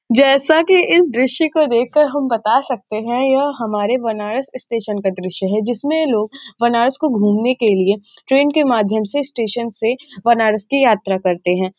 जैसा की इस दृश्य को देख के हम बता सकते है यह हमारे बनारस स्टेशन का दृश्य है जिसमे लोग बनारस को घूमने के लिए ट्रैन के माध्यम से स्टेशन से बनारस की यात्रा करते हैं।